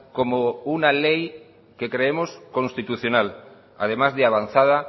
como una ley que creemos constitucional además de avanzada